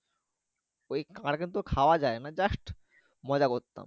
ঐ কিন্তু খাওয়া যায় না যাস্ট মজা করতাম